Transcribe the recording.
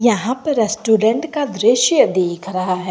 यहां पर रेस्टोरेंट का दृश्य दिख रहा है।